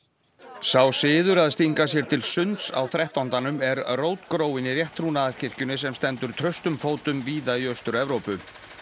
sá siður að stinga sér til sunds á þrettándanum er rótgróinn í rétttrúnaðarkirkjunni sem stendur traustum fótum víða í Austur Evrópu